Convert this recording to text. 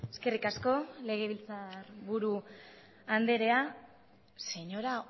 eskerrik asko legebiltzar buru andrea señora